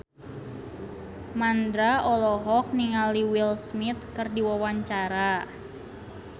Mandra olohok ningali Will Smith keur diwawancara